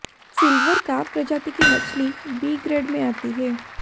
silver carp प्रजाति की मछली बी ग्रेड में आती है